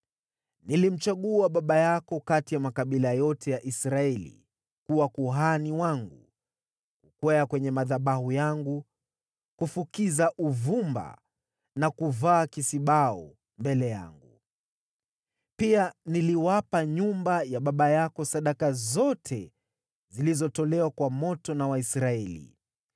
Nilimchagua baba yako kati ya makabila yote ya Israeli kuwa kuhani wangu, kukwea kwenye madhabahu yangu, kufukiza uvumba na kuvaa kisibau mbele yangu. Pia niliwapa nyumba ya baba yako sadaka zote zilizotolewa kwa moto na Waisraeli.